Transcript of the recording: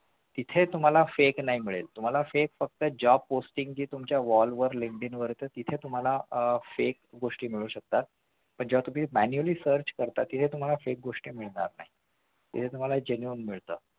तिथे तुम्हाला fake नाही मिळेल तुम्हाला fake फक्त job posting च्या Linkdin वर तिथे तुम्हाला fake posting मिळू शकतात पण जेव्हा तुम्ही manually search करता तेव्हा तुम्हाला fake गोष्टी मिळणार नाही